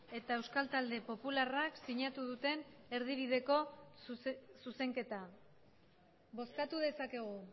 eta euskal talde popularrak sinatu duten erdibideko zuzenketa bozkatu dezakegu